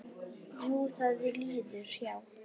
Jú, það líður hjá.